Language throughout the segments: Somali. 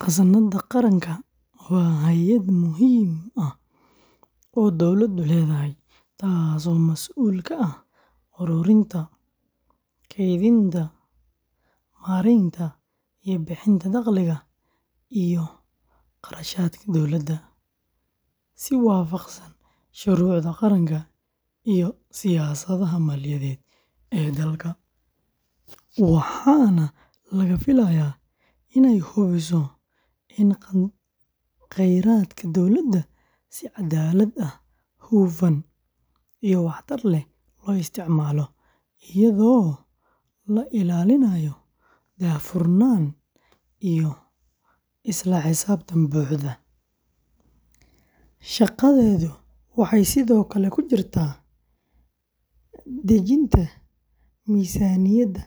Khasnadda Qaranka waa hay’ad muhiim ah oo dawladdu leedahay, taasoo mas’uul ka ah ururinta, kaydinta, maareynta iyo bixinta dakhliga iyo kharashaadka dowladda, si waafaqsan shuruucda qaranka iyo siyaasadaha maaliyadeed ee dalka, waxaana laga filayaa inay hubiso in khayraadka dowladda si caddaalad ah, hufan, iyo waxtar leh loo isticmaalo, iyadoo la ilaalinayo daahfurnaan iyo isla xisaabtan buuxa; shaqadeedu waxay sidoo kale ku jirtaa dejinta miisaaniyadda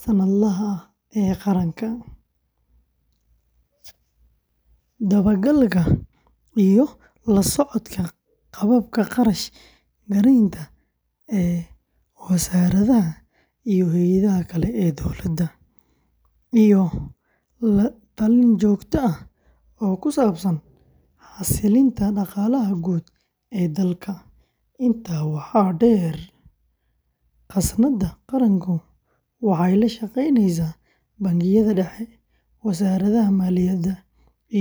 sannadlaha ah ee qaranka, dabagalka iyo la socodka qaababka kharash garaynta ee wasaaradaha iyo hay’adaha kale ee dowladda, iyo la-talin joogto ah oo ku saabsan xasilinta dhaqaalaha guud ee dalka; intaa waxaa dheer, khasnadda qaranku waxay la shaqeysaa Bangiga Dhexe, Wasaaradda Maaliyadda, iyo hay’adaha kale ee caalamiga ah.